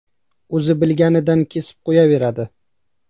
O‘zi bilganidan kesib qo‘yaveradi.